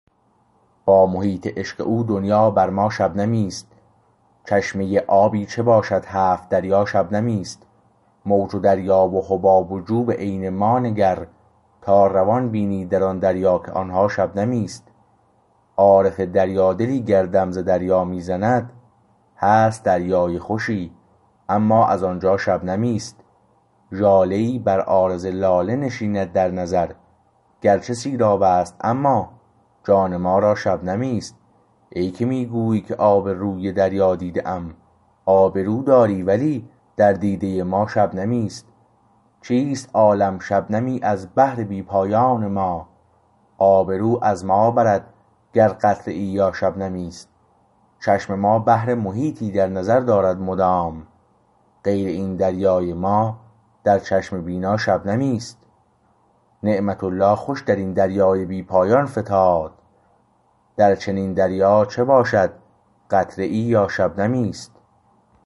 با محیط عشق او دنیا بر ما شبنمی است چشمه آبی چه باشد هفت دریا شبنمی است موج و دریا و حباب و جو به عین ما نگر تا روان بینی در آن دریا که آنها شبنمی است عارف دریا دلی گر دم ز دریا می زند هست دریای خوشی اما از آنجا شبنمی است ژاله ای بر عارض لاله نشیند در نظر گرچه سیراب است اما جان ما را شبنمی است ای که می گویی که آب روی دریا دیده ام آبرو داری ولی در دیده ما شبنمی است چیست عالم شبنمی از بحر بی پایان ما آبرو از ما برد گر قطره ای یا شبنمی است چشم ما بحر محیطی در نظر دارد مدام غیر این دریای ما در چشم بینا شبنمی است نعمت الله خوش در این دریای بی پایان فتاد در چنین دریا چه باشد قطره ای یا شبنمی است